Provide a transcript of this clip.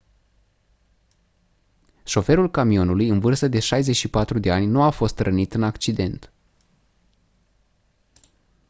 șoferul camionului în vârstă de 64 de ani nu a fost rănit în accident